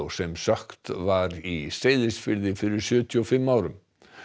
sem sökkt var í Seyðisfirði fyrir sjötíu og fimm árum